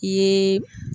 I ye